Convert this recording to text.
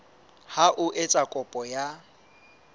ka ho etsa kopo ya